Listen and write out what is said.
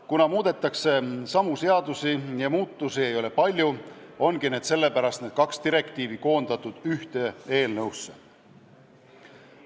Kuna muudetakse samu seadusi ja muudatusi ei ole palju, on need kaks direktiivi koondatud ühte eelnõusse.